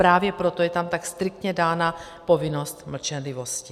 Právě proto je tam tak striktně dána povinnost mlčenlivosti.